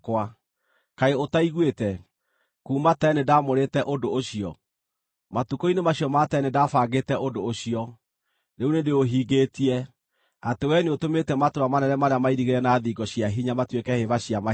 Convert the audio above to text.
“Kaĩ ũtaiguĩte? Kuuma tene nĩndamũrĩte ũndũ ũcio. Matukũ-inĩ macio ma tene nĩndabangĩte ũndũ ũcio: rĩu nĩndĩũhingĩtie, atĩ wee nĩũtũmĩte matũũra manene marĩa mairigĩre na thingo cia hinya matuĩke hĩba cia mahiga.